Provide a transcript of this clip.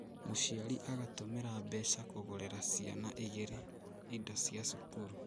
Mũciari agatũmĩra mbeca kũgũrĩra ciana igirĩ indo cia cukuru